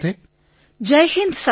Vinolekiso Jai Hind sir